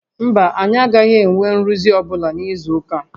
Mba, a gaghị enwe nrụzi ọ́bụla n'izu ụka a